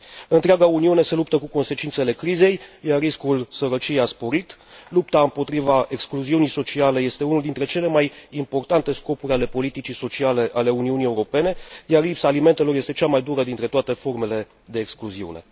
Întreaga Uniune se luptă cu consecințele crizei, iar riscul sărăciei a sporit, lupta împotriva excluziunii sociale este unul dintre cele mai importante scopuri ale politicii sociale ale Uniunii Europene, iar lipsa alimentelor este cea mai dură dintre toate formele de excluziune.